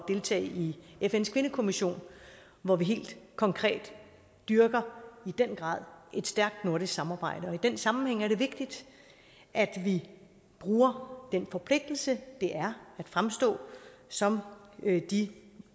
deltage i fns kvindekommission hvor vi helt konkret dyrker i den grad stærkt nordisk samarbejde i den sammenhæng er det vigtigt at vi bruger den forpligtelse det er at fremstå som de